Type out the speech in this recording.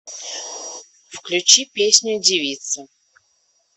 включи песню девица